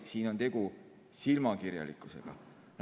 Siin on tegu silmakirjalikkusega.